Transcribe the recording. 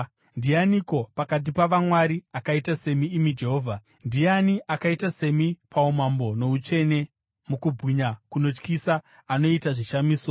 “Ndianiko pakati pavamwari akaita semi, imi Jehovha? Ndiani akaita semi, paumambo noutsvene, mukubwinya kunotyisa, anoita zvishamiso?